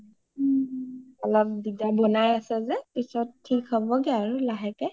অলপ দিগদাৰ, বনাই আছে যে পিছত থিক হ’ব গে আৰু লাহেকে